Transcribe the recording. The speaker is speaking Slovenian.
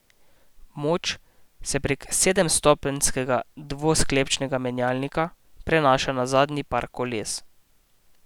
Moč se prek sedemstopenjskega dvosklopčnega menjalnika prenaša na zadnji par koles.